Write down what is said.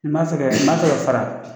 Ni ma fɛ kɛ, i ma fɛ ka fara